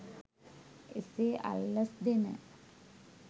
එසේ අල්ලස් දෙන